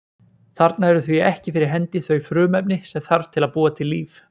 Þarna eru því ekki fyrir hendi þau frumefni sem þarf til að búa til líf.